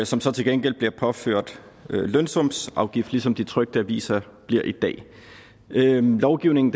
som så til gengæld bliver påført lønsumsafgift ligesom de trykte aviser bliver i dag lovgivningen